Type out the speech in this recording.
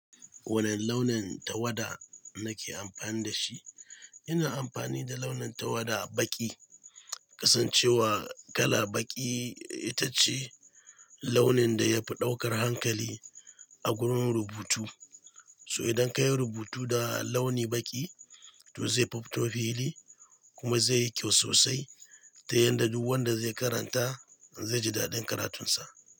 Wane launin tawada nake amfani da shi? Ina amfani da launin tawada baƙi, kasancewa kala baƙi ita ce launin da yafi ɗaukar hankali a gurin rubutu. So idan ka yi rubutu da launi baƙi, to zai fi fito fili kuma zai yi kyau sosai, ta yanda duk wanda zai karanta zai ji daɗin karatunsa.